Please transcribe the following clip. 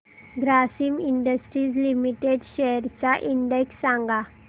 Grasim industries limited shares चा index सांगा